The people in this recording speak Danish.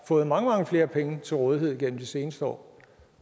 fået mange mange flere penge til rådighed igennem de seneste år